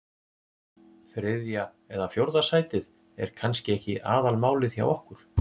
Þriðja eða fjórða sætið er kannski ekki aðalmálið hjá okkur.